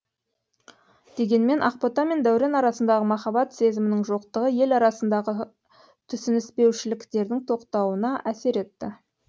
дегенмен ақбота мен даурен арасындағы махаббат сезімінің жоқтығы ел арасындағы түсініспеушіліктердің тоқтауына әсер етті